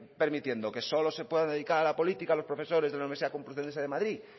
permitiendo que solo se puedan dedicar a la política los profesores de la universidad de la complutense de madrid